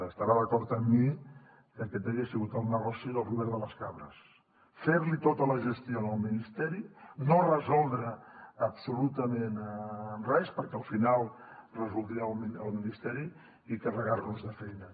estarà d’acord amb mi que aquest hagués sigut el negoci del robert de les cabres fer li tota la gestió al ministeri no resoldre absolutament res perquè al final resoldria el misteri i carregar nos de feina